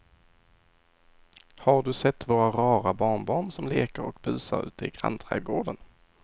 Har du sett våra rara barnbarn som leker och busar ute i grannträdgården!